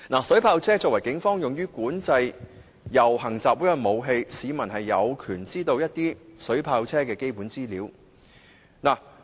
水炮車作為警方用於管制遊行集會的武器，市民有權知道水炮車的基本資料。